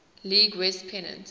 league west pennant